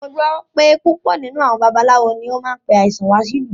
Mo gbọ́ pé púpọ̀ nínú àwọn babaláwo náà ló máa ń pe àìsàn wá sí ìlú